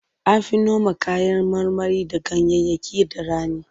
An fi noma kayan marmari da ganyayyaki da rani.